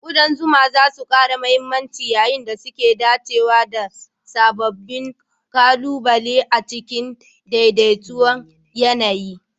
ƙudan zuma za su ƙara mahimmanci yayin da suke dacewa da sababbin ƙalubale a cikin daidai ton yAna yi